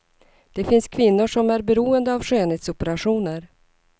Det finns kvinnor som är beroende av skönhetsoperationer.